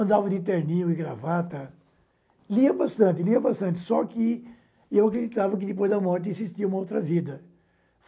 Andava de terninho e gravata, lia bastante lia bastante, só que eu acreditava que depois da morte existia uma outra vida.